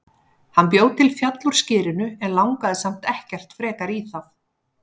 Hann bjó til fjall úr skyrinu en langaði samt ekkert frekar í það.